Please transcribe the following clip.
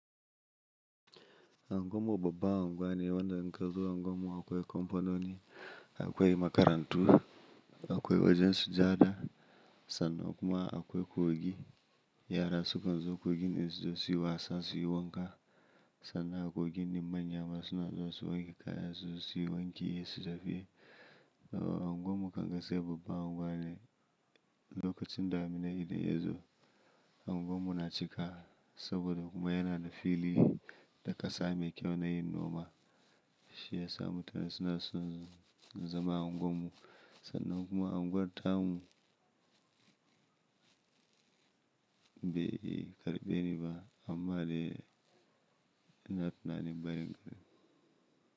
Anguwan mu baban anguwane wanda nka zuwa anguwanmu akwai kamfanoni, akwai makarantu, akwai wajen sujada sannan kuma akwai kogi. Yara sukan zo kogin in su zo su yi wasa, su yi wanka sannan a kogin ne manya masu na zuwa su wanke kayansu su yi wanki, yi su tafi Anguwan mu a gaskiya babban anguwane lokacin damuna idan yazo, anguwanmu cika saboda kuma yana da fili da kasa mai kyau na yin noma. Shi yasa mutane suna son zama a anguwanmu sannan kuma anguwar tamu be karbe ni ba amma dai ina tunanin bayin gari.